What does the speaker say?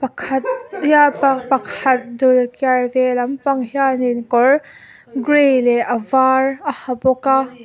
pakhat hian pa pakhat dul kiar ve lampang hianin kawr gray leh a var a ha bawk a.